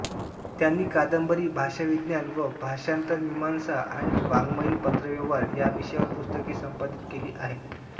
त्यांनी कादंबरी भाषविज्ञान व भाषांतरमीमांसा आणि वाङ्ममयीन पत्रव्यवहार याविषयांवर पुस्तके संपादित केली आहेत